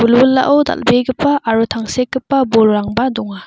wilwilao dal·begipa aro tangsekgipa bolrangba donga.